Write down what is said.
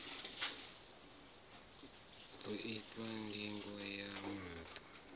ḓo itwa ndingo ya maṱo